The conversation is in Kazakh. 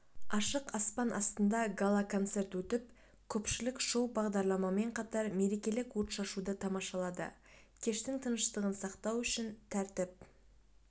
ашық аспан астында гала-концерт өтіп көпшілік шоу-бағдарламамен қатар мерекелік отшашуды тамашалады кештің тыныштығын сақтау үшін тәртіп